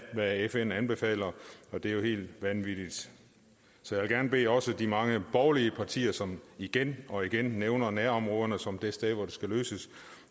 hvad fn anbefaler og det er jo helt vanvittigt så jeg vil også gerne bede de mange borgerlige partier som igen og igen nævner nærområderne som det sted hvor tingene skal løses